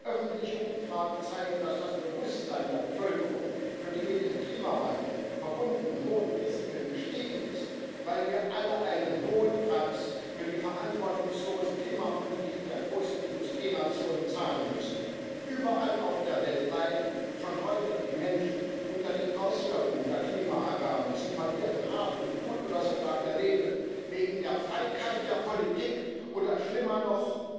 Öffentliche Umfragen zeigen, dass das Bewusstsein der Bevölkerung für die mit dem Klimawandel verbundenen hohen Risiken gestiegen ist, weil wir alle einen hohen Preis für die verantwortungslose Klimapolitik der großen Industrienationen zahlen müssen. Überall auf der Welt leiden schon heute die Menschen unter den Auswirkungen der Klimaerwärmung. Sie verlieren Hab und Gut oder sogar ihr Leben wegen der Feigheit der Politik, oder schlimmer noch,